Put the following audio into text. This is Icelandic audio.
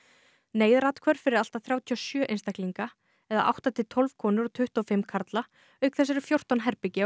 fyrir allt að þrjátíu og sjö einstaklinga átta til tólf konur og tuttugu og fimm karla auk þess eru fjórtán herbergi á Víðinesi